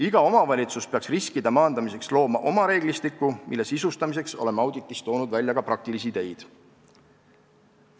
Iga omavalitsus peaks riskide maandamiseks looma oma reeglistiku, mille sisustamiseks oleme auditis toonud välja ka praktilisi ideid.